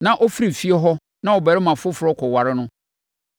na ɔfiri fie hɔ na ɔbarima foforɔ kɔware no,